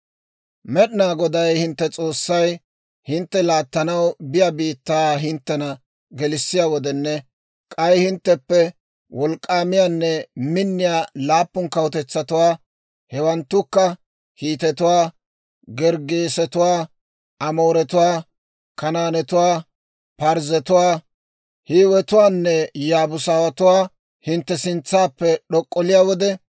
«Med'inaa Goday hintte S'oossay hintte laattanaw biyaa biittaa hinttena gelissiyaa wodenne, k'ay hintteppe wolk'k'aamiyaanne minniyaa laappun kawutetsatuwaa, hewanttukka Hiitetuwaa, Gerggeesetuwaa, Amooretuwaa, Kanaanetuwaa, Parzzetuwaa, Hiiwetuwaanne Yaabuusatuwaa hintte sintsaappe d'ok'olliyaa wode,